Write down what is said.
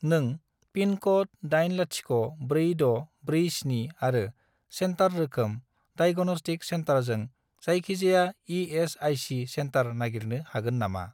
नों पिनक'ड 804647 आरो सेन्टार रोखोम डाइग'नस्टिक सेन्टारजों जायखिजाया इ.एस.आइ.सि. सेन्टार नागिरनो हागोन नामा?